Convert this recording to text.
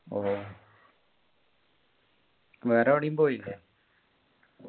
ഓ വേറെ എവിടേം പോയില്ലേ